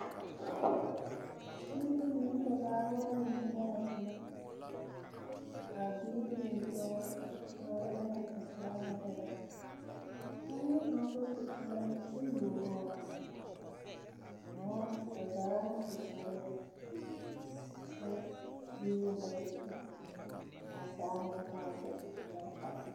Biiri mine ne ba baaba la zeŋ tona ba toma. Ka biiri zeŋ tɔɔre kyɛ kaara lana ba saa naŋ erɛ. A bie kaŋa bas u kparoŋ kyɛ you o noɔre õõõ… ba zaaŋ su kparɛɛ kyɛ boŋyeni la ba su. Ka a saa meŋ pãã zeŋ …